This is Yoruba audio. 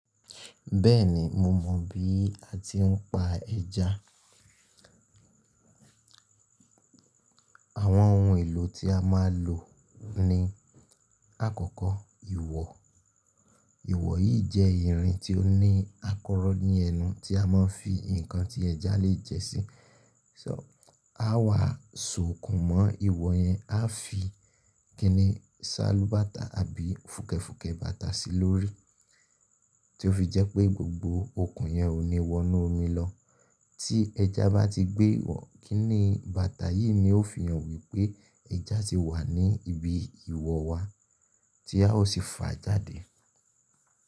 Bẹ́ẹ̀ni, mo mọ bí a ti ń pa ẹja. Àwọn ohun èlò tí a máa lò ni lakọ́kọ́ ìwọ̀. Ìwọ̀ yìí jẹ́ irin tí ó ní àkọ́rọ́ ní ẹnu tí a máa ń fi ǹkan tí ẹja lè jẹ́ sí. So á wàa so òkun mọ́ ìwọ̀ yẹn, a fi kiní ṣálubàtà àbí fùkẹ̀fùkẹ̀ bàtà sí lórí, tí ó fi jẹ́ pé gbogbo òkun yẹn ò ní wọnú omi lọ. Tí ẹja bá ti gbé ìwọ̀, kiní bàtà yìí ni ó fi hàn wípé ẹja ti wà ní ibi ìwọ̀ wa tí a ó sì fà á jáde.